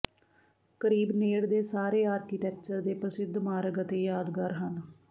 ਕਰੀਬ ਨੇੜ ਦੇ ਸਾਰੇ ਆਰਕੀਟੈਕਚਰ ਦੇ ਪ੍ਰਸਿੱਧ ਮਾਰਗ ਅਤੇ ਯਾਦਗਾਰ ਹਨ